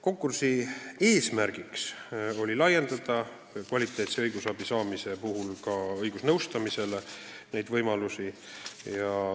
Konkursi eesmärk oli laiendada inimeste võimalusi saada kvaliteetset õigusnõustamist.